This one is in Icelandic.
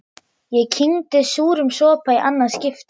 Ég kyngi súrum sopa í annað skipti.